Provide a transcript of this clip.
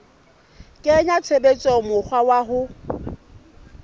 kenya tshebetsong mokgwa wa ho